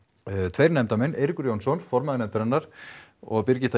tveir nefndarmenn Eiríkur Jónsson formaður nefndarinnar og Birgitta